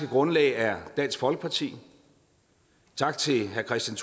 grundlag er dansk folkeparti tak til herre kristian